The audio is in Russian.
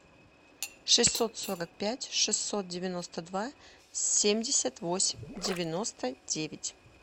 шестьсот сорок пять шестьсот девяносто два семьдесят восемь девяносто девять